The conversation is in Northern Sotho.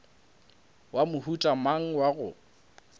wa mohuta mang wa go